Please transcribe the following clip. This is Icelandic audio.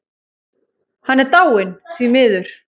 Hann er dáinn, því miður.